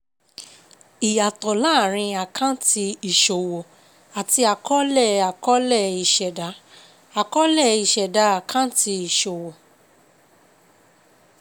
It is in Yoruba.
Ìyàtọ̀ láàárín àkáǹtì ìṣòwò àti àkọọ́lẹ̀ àkọọ́lẹ̀ ìṣẹ̀dá. Àkọọ́lẹ̀ ìṣẹ̀dá àkáǹtì ìṣòwò.